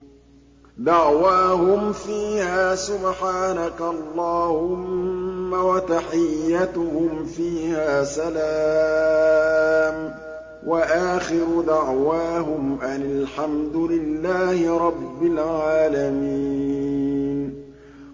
دَعْوَاهُمْ فِيهَا سُبْحَانَكَ اللَّهُمَّ وَتَحِيَّتُهُمْ فِيهَا سَلَامٌ ۚ وَآخِرُ دَعْوَاهُمْ أَنِ الْحَمْدُ لِلَّهِ رَبِّ الْعَالَمِينَ